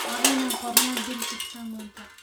Waa inaan qornaa bil kasta manta.